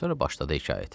Sonra başladı hekayəti.